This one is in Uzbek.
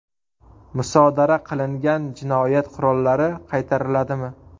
Musodara qilingan jinoyat qurollari qaytariladimi?.